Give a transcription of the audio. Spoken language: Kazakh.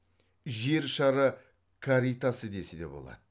жер шары каритасы десе де болады